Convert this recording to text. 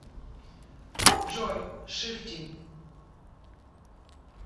джой шифти